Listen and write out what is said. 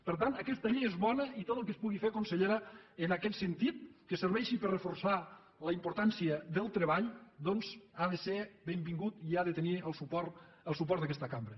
per tant aquesta llei és bona i tot el que es pugui fer consellera en aquest sentit que serveixi per reforçar la importància del treball doncs ha de ser benvingut i ha de tenir el suport d’aquesta cambra